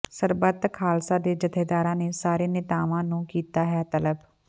ਸਰਬੱਤ ਖ਼ਾਲਸਾ ਦੇ ਜਥੇਦਾਰਾਂ ਨੇ ਸਾਰੇ ਨੇਤਾਵਾਂ ਨੂੰ ਕੀਤਾ ਹੈ ਤਲਬ